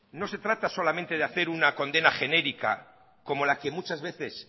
no se trata solamente de hacer una condena genérica como la que muchas veces